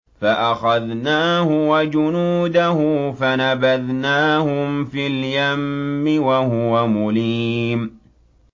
فَأَخَذْنَاهُ وَجُنُودَهُ فَنَبَذْنَاهُمْ فِي الْيَمِّ وَهُوَ مُلِيمٌ